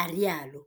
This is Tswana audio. a rialo.